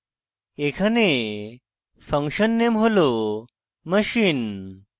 এখানে function name হল machine